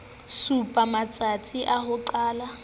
supa matstasi a ho qala